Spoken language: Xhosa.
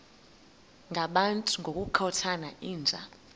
ngabantu ngokukhothana yinja